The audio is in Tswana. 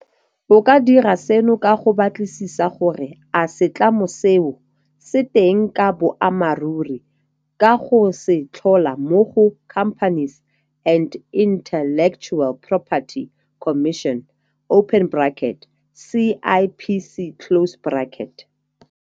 O ka dira seno ka go batlisisa gore a setlamo seo se teng ka boammaruri ka go se tlhola mo go Companies and Intellectual Property Commission, CIPC.